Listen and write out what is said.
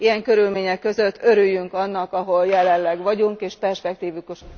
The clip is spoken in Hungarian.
Ilyen körülmények között örüljünk annak, ahol jelenleg vagyunk, és perspektivikus...